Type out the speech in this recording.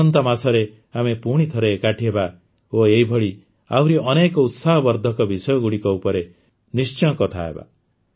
ଆସନ୍ତା ମାସରେ ଆମେ ପୁଣିଥରେ ଏକାଠି ହେବା ଓ ଏଭଳି ଆହୁରି ଅନେକ ଉତ୍ସାହବର୍ଦ୍ଧକ ବିଷୟଗୁଡ଼ିକ ଉପରେ ନିଶ୍ଚୟ କଥା ହେବା